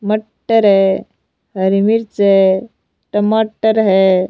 मटर है हरी मिर्च है टमाटर है।